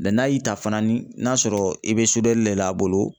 n'a y'i ta fana ni n'a sɔrɔ i be li le l'a bolo